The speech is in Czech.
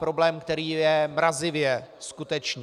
Problém, který je mrazivě skutečný.